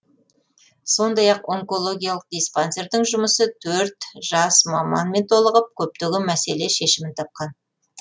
сондай ақ онкологиялық диспансердің жұмысы төрт жас маманмен толығып көптеген мәселе шешімін тапқан